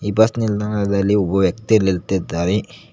ಈ ಬಸ್ ನಿಲ್ದಾಣದಲ್ಲಿ ಒಬ್ಬ ವ್ಯಕ್ತಿ ನಿಂತಿದ್ದಾರೆ.